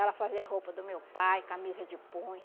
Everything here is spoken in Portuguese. Ela fazia a roupa do meu pai, camisa de punho.